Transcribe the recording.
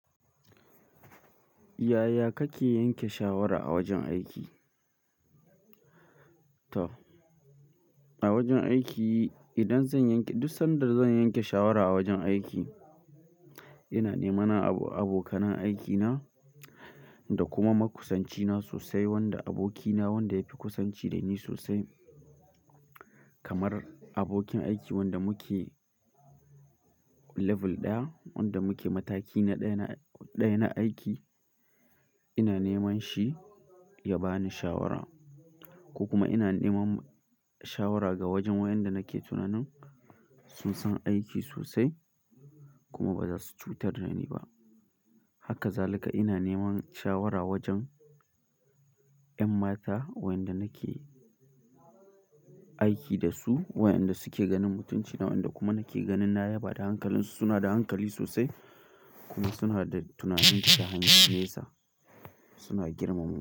Yaya kake yanke shawara a wajen aiki? To, a wajen aiki idan zan yanke, duk sanda zan yanke shawara a wajen aiki, ina neman abokanan aiki na da kuma makusanci na sosai, wanda aboki na wanda yafi kusanci da ni sosai. Kamar abokin aiki wanda muke labul daya wanda muke mataki na daya na aiki ina neman shi ya bani shawara ko kuma ina neman shawa ga wajen wanda nike tinani sun san aiki so sai kuma bazasu cutar da ni ba haka zalika ina neman shawara wajan yan mata wayanda nike aiki dasu wayanda suke ganin mutunci na wayanda kuma nike ganin na yaba da hankalinsu suna da hankali so sai kuma suna da tinani da han gen nesa.